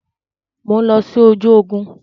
Mo ń lọ sí ojú ogún.